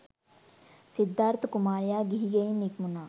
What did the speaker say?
සිද්ධාර්ථ කුමාරයා ගිහි ගෙයින් නික්මුණා.